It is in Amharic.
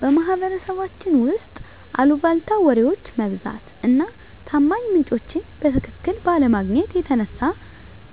በማህበረሰባችን ውስጥ አልቧልታ ወሬዎች መብዛት እና ታማኝ ምንጮችን በትክክል ባለማግኘት የተነሳ